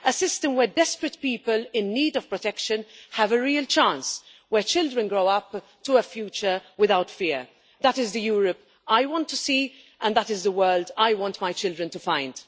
a system where desperate people in need of protection have a real chance, where children grow up to a future without fear. That is the Europe I want to see and that is the world I want my children to find.